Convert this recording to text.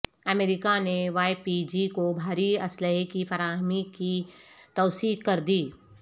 امریکہ نے Y P G کو بھاری اسلحے کی فراہمی کی توثیق کر دی